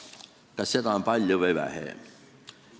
Kas seda on palju või vähe?